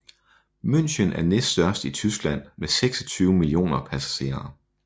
München er næststørst i Tyskland med 26 millioner passagerer